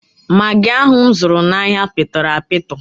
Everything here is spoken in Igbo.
Magị ahụ m zụrụ n'ahịa pịtọrọ apịtọ.